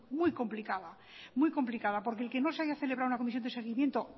muy complicada muy complicada porque que el que no se haya celebrado una comisión de seguimiento